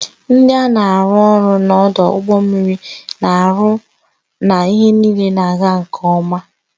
Ndị na-arụ ọrụ n'ọdụ ụgbọ mmiri na-ahụ na ihe niile na-aga nke ọma.